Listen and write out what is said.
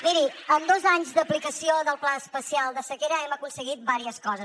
miri amb dos anys d’aplicació del pla especial de sequera hem aconseguit diverses coses